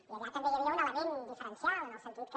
i allà també hi havia un element diferencial en el sentit que